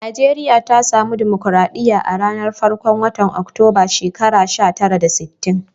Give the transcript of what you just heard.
Nijeriya ta samu dimokuradiyya a'ranan farkon wotan Oktoba a'shekara sha tara da sitin.